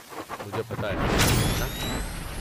مجھے پتہ ہے، ہے ناں؟